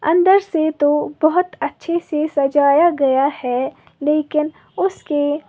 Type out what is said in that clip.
अंदर से तो बहोत अच्छे से सजाया गया है लेकिन उसके--